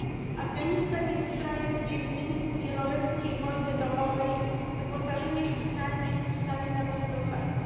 Afganistan jest krajem, gdzie w wyniku wieloletniej wojny domowej wyposażenie szpitali jest w stanie katastrofalnym.